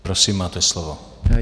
Prosím, máte slovo.